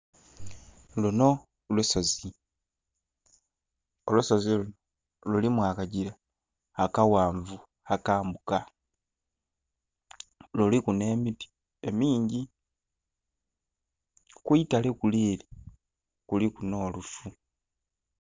Luno olusozi, olusozi luno lulimu akagira akaghanvu akambuka, luliku n'emiti emingi kwitale kule kuliku n'lufu.